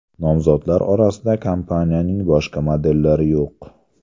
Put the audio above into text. Nomzodlar orasida kompaniyaning boshqa modellari yo‘q.